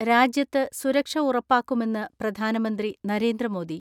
രാജ്യത്ത് സുരക്ഷ ഉറപ്പാക്കുമെന്ന് പ്രധാനമന്ത്രി നരേന്ദ്രമോദി.